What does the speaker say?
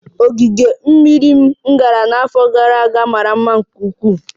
Ogige mmiri m gara n'afọ gara aga mara mma nke ukwuu